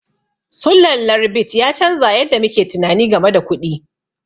Sulallar bit ya canza yadda muke tunani game da kuɗi.